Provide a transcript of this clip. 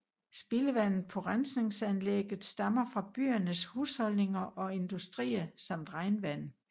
Spildevandet på rensningsanlægget stammer fra byernes husholdninger og industrier samt regnvand